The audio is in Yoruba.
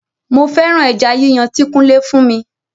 Mo féràn ẹja yíyàn ti kunle fún mi